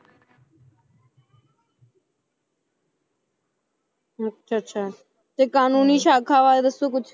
ਅੱਛਾ ਅੱਛਾ ਤੇ ਕਾਨੂੰਨੀ ਸਾਖਾ ਬਾਰੇ ਦੱਸੋ ਕੁਛ